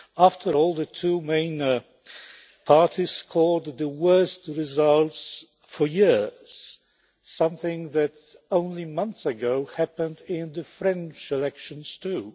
After all, the two main parties scored the worst results for years, something that only months ago happened in the French elections too.